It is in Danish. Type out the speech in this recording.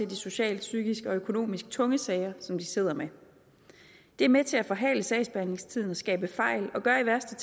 de socialt psykisk og økonomisk tunge sager som de sidder med det er med til at forhale sagsbehandlingstiden og skabe fejl og gør i værste